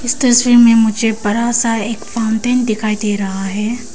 इस तस्वीर में मुझे बड़ा सा एक फाउंटेन दिखाई दे रहा है।